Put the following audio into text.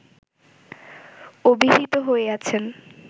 অভিহিত হইয়াছেন